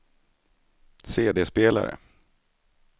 CD-spelare